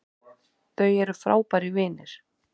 Þau eru frábærir vinir